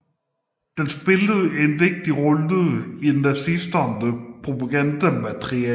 Den spillede en vigtig rolle i nazisternes propagandamateriale